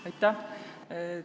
Aitäh!